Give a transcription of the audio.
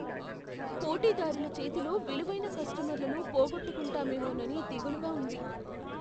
పోటీదారుల చేతిలో విలువైన కస్టమర్లను పోగొట్టుకుంటామేమోనని దిగులుగా ఉంది.